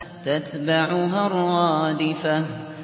تَتْبَعُهَا الرَّادِفَةُ